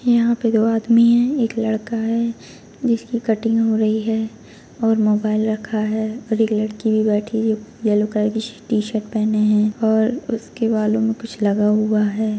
यहाँ पे दो आदमी है एक लड़का है जिसकी कटिंग हो रही है और मोबाइल रखा है और एक लड़की भी बैठी है येलो कलर की श-शर्ट पहने है और उसके बालों में कुछ लगा हुआ है।